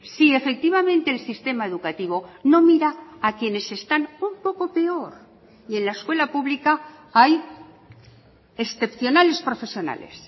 si efectivamente el sistema educativo no mira a quienes están un poco peor y en la escuela pública hay excepcionales profesionales